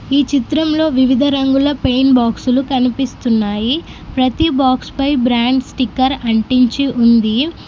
ఈ చిత్రంలో వివిధ రంగుల పెయింట్ బాక్సులు కనిపిస్తున్నాయి. ప్రతి బాక్స్ పై బ్రాండ్ స్టిక్కర్ అంటించి ఉంది.